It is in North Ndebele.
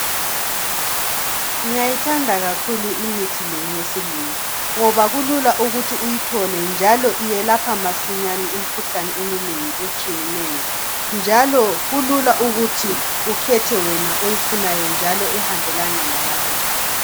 ngiyayithanda kakhulu imithi le yesilungu ngoba kulula ukuthi uyithole njalo iyelapha masinyane imikhuhlane eminengi etshiyeneyo njalo kulula ukuthi ukhethe wena oyifunayo ehambelana lawe